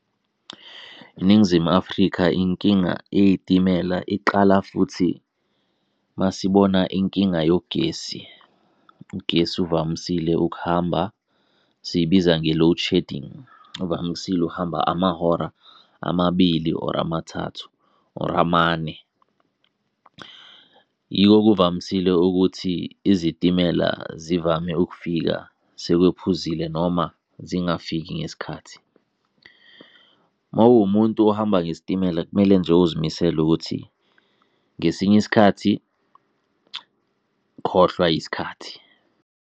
iNingizimu Afrika inkinga eyey'timela iqala futhi masibona inkinga yogesi. Ugesi uvamisile ukuhamba siyibiza nge-load shedding, uvamisile ukuhamba amahora amabili, or amathathu, or amane. Yiko kuvamisile ukuthi izitimela zivame ukufika sekwephumzile noma zingafiki ngesikhathi. Mawuwumuntu ohamba ngesitimela kumele nje uzimisele ukuthi ngesinye isikhathi khohlwa yisikhathi.